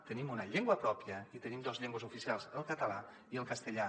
tenim una llengua pròpia i tenim dues llengües oficials el català i el castellà